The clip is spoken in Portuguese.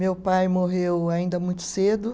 Meu pai morreu ainda muito cedo.